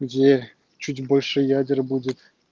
где чуть больше ядер будет